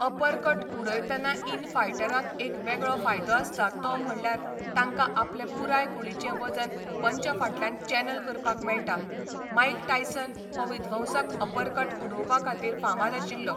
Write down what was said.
Uppercut उडयतना इन फायटरांक एक वेगळो फायदो आसता तो म्हणल्यार तांकां आपलें पुराय कुडीचें वजन पंच फाटल्यान चॅनल करपाक मेळटा, माईक टायसन हो विध्वंसक अपरकट उडोवपा खातीर फामाद आशिल्लो.